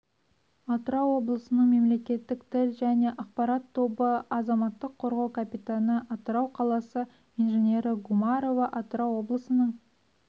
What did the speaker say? атырау облысының мемлекеттік тіл және ақпарат тобы азаматық қорғау капитаны атырау қаласы инженері гумарова атырау облысының